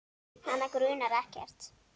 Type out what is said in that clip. Hana grunar ekkert.